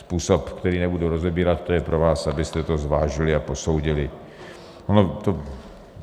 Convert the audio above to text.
Způsob, který nebudu rozebírat, to je pro vás, abyste to zvážili a posoudili.